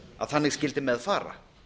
að þannig skyldi með fara